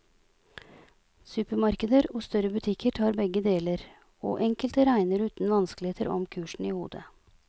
Supermarkeder og større butikker tar begge deler, og enkelte regner uten vanskeligheter om kursen i hodet.